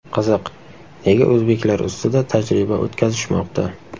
Qiziq, nega o‘zbeklar ustida tajriba o‘tkazishmoqda?